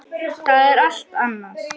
Það er allt annað.